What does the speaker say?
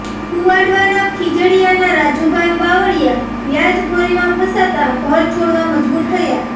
કુવાડવાના ખીજડીયાના રાજુભાઇ બાવળીયા વ્યાજખોરીમાં ફસાતાં ઘર છોડવા મજબૂર થયા